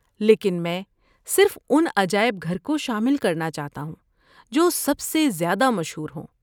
لیکن میں صرف ان عجائب گھر کو شامل کرنا چاہتا ہوں جو سب سے زیادہ مشہور ہوں۔